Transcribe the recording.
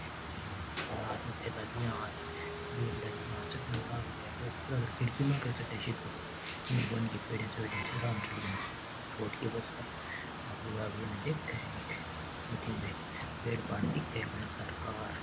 और अठन आदमी थेला लिए र बेगड़ा लिया चढ़न लाग रा है बो ऊपर कर खिड़की म्हाखर चढ़ सिदो छोटकी बस है आ लुगावड़ी उन देख एक अठन ने पेड़ पाड़ दिख र घणा सार का।